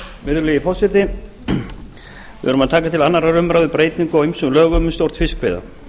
virðulegi forseti við erum að taka til annarrar umræðu breytingu á ýmsum lögum um stjórn fiskveiða